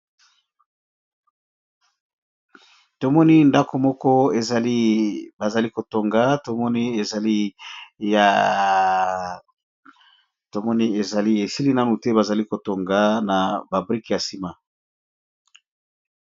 Tomoni ndako moko ebazali kotonga tomoni ezali esili nanu te bazali kotonga na babrike ya nsima.